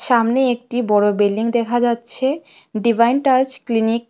সামনে একটি বড়ো বিল্ডিং দেখা যাচ্ছে ডিভাইন টাচ ক্লিনিক ।